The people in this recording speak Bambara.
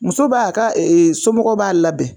Muso b'a ka somɔgɔw b'a labɛn.